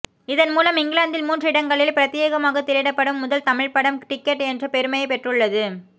இதன் மூலம் இங்கிலாந்தில் மூன்று இடங்களில் ப்ரத்யேகமாக திரையிடப்படும் முதல் தமிழ் படம் டிக்கெட் என்ற பெருமையை பெற்றுள்ள து